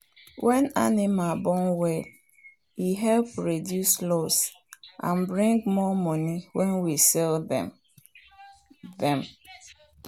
when animal born well e help reduce loss and bring more money when we sell dem. dem.